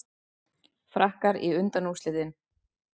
Frakkar í undanúrslitin